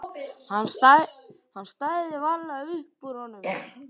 Hann stæði varla upp úr honum.